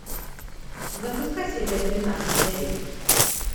запускай серия тринадцать дерек